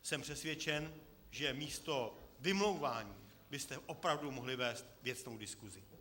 Jsem přesvědčen, že místo vymlouvání byste opravdu mohli vést věcnou diskusi.